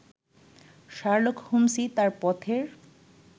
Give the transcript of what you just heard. Sherlock হোম্স্ই তাঁর পথের